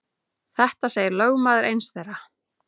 Þetta segir lögmaður eins þeirra.